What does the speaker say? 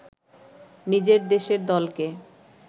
নিজের দেশের দলকে